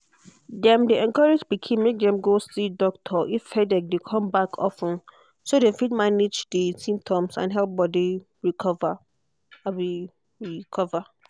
dem dey encourage pikin make dem go see doctor if headache dey come back of ten so dem fit manage di symptoms and help body recover. recover.